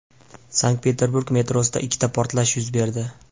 Sankt-Peterburg metrosida ikkita portlash yuz berdi.